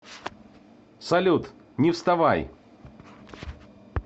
салют не вставай